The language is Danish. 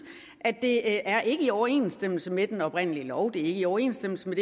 at det ikke er i overensstemmelse med den oprindelige lov det i overensstemmelse med